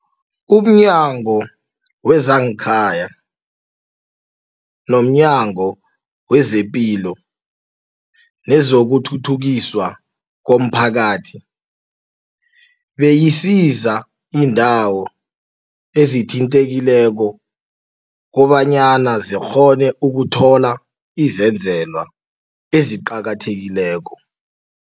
UmNyango wezangeKhaya, nomNyango wezePilo nezokuThuthukiswa komPhakathi beyisiza iindawo ezithintekileko kobanyana zikghone ukuthola izenzelwa eziqakathekileko.